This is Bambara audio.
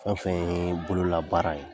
fɛn fɛn ye bololabaara ye